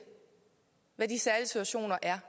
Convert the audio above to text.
er